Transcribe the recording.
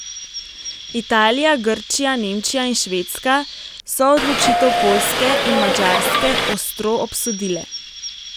Italija, Grčija, Nemčija in Švedska so odločitev Poljske in Madžarske ostro obsodile.